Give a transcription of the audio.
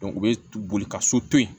u bɛ boli ka so to yen